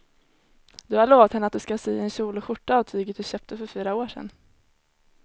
Du har lovat henne att du ska sy en kjol och skjorta av tyget du köpte för fyra år sedan.